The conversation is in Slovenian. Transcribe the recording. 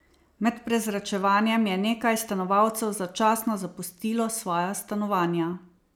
Med prezračevanjem je nekaj stanovalcev začasno zapustilo svoja stanovanja.